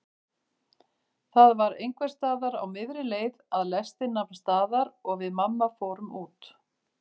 Það var einhversstaðar á miðri leið að lestin nam staðar og við mamma fórum út.